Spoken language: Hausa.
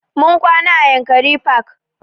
Mun kwana a yankari park